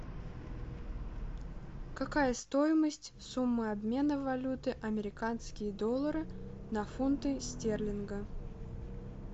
какая стоимость суммы обмена валюты американские доллары на фунты стерлинга